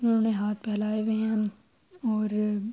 انہونے ہاتھ فیلاہے ہوئے ہے اور--